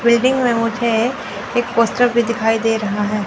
Building में मुझे एक पोस्टर भी दिखाई दे रहा है।